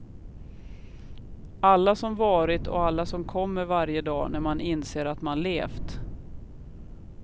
Alla som varit och alla som kommer varje dag när man inser att man levt.